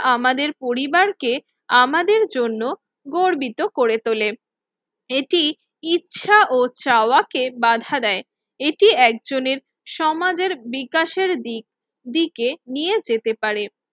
আমাদের পরিবারকে আমাদের জন্য গর্বিত করে তোলে। এটি ইচ্ছা ও চাওয়াকে বাধা দেয়, এটি একজনের সমাজের বিকাশের দিক দিকে নিয়ে যেতে পারে।